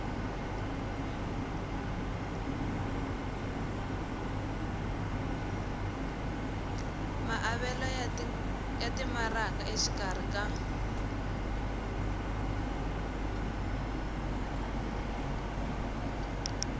maavelo ya timaraka exikarhi ka